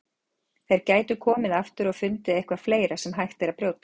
Þeir gætu komið aftur og fundið eitthvað fleira sem hægt er að brjóta.